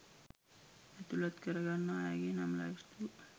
ඇතුලත් කරගන්නා අයගේ නම් ලැයිස්තුව